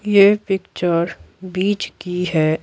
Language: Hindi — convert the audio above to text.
ये पिक्चर बीच की है।